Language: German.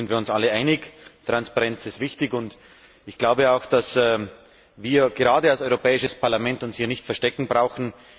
Im Ziel sind wir uns alle einig Transparenz ist wichtig, und ich glaube auch, dass wir uns als Europäisches Parlament nicht zu verstecken brauchen.